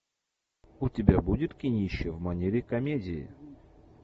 у тебя будет кинище в манере комедии